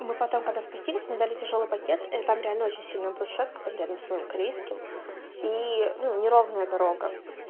мы потом когда спустились мне дали тяжёлый пакет и там реально очень сильная брусчатка там рядом с моим корейским и ну неровная дорога